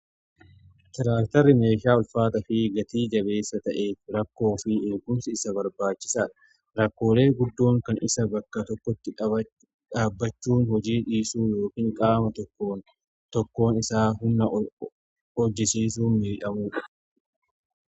Tiraaktarri meeshaa ulfaata fi gatii jabeessa ta'eef rakkoo fi eegumsi isa barbaachisaadha rakkoolee guddoon kan isa bakka tokkotti dhaabbachuun hojii dhiisuu yookin qaama tokko tokkoon isaa humna hojjisiisuun miidhamuudha.